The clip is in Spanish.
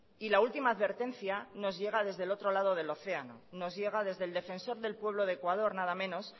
y la última advertencia nos llega desde el otro lado del océano nos llega desde el defensor del pueblo de ecuador nada menos